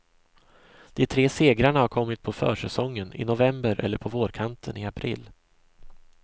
De tre segrarna har kommit på försäsongen, i november, eller på vårkanten, i april.